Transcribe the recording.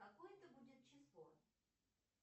какое это будет число